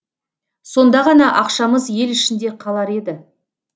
сонда ғана ақшамыз ел ішінде қалар еді